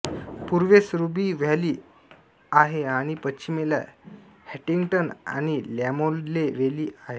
पूर्वेस Ruby valley आहे आणि पश्चिमेला हंटिंग्टन आणि लॅमोले वेली आहेत